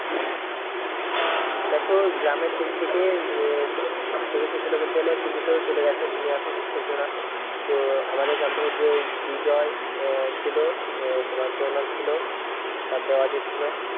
দেখো গ্রামের team থেকে আহ থেকে কে কে খেলছিল বলতে গেলে তুমি তো চলে গেছো তুমি এখন খেলছোনা তো আমাদের গ্রাম থেকে যে বিজয়, আহ ছিল আহ তোমার প্রণব ছিল তারপরে অজিত ছিল